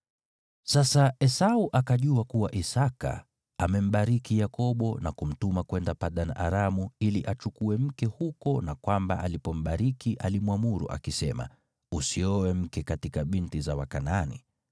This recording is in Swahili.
Sasa Esau akajua kuwa Isaki amembariki Yakobo na kumtuma kwenda Padan-Aramu ili achukue mke huko na kwamba alipombariki alimwamuru akisema, “Usioe mke katika binti za Wakanaani,”